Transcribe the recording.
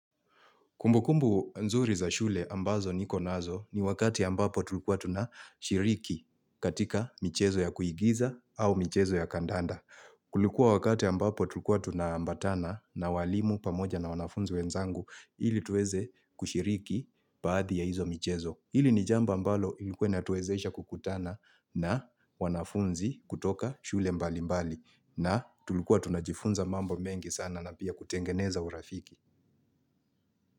Kumbukumbu nzuri za shule ambazo niko nazo ni wakati ambapo tulikuwa tunashiriki katika michezo ya kuigiza au michezo ya kandanda. Kulikuwa wakati ambapo tulikuwa tunaambatana na walimu pamoja na wanafunzi wenzangu ili tuweze kushiriki baadhi ya hizo michezo. Hili ni jambo ambalo ilikuwa inatuwezesha kukutana na wanafunzi kutoka shule mbali mbali na tulikuwa tunajifunza mambo mengi sana na pia kutengeneza urafiki.